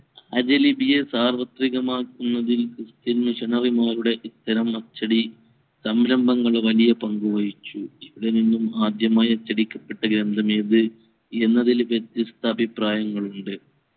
ആര്യ ലിപിയെ സാർവത്രികമാക്കുന്നതിൽ christian missionary ങ്ങളുടെ ഇത്തരം അച്ചടി സംരംഭങ്ങൾ വലിയ പങ്കു വഹിച്ചു ഇവിടെ നിന്നും ആദ്യമായ് അച്ചടിക്കപ്പെട്ട യന്ത്രമേത് എന്നതിൽ വ്യത്യസ്ത അഭിപ്രായങ്ങൾ ഉണ്ട്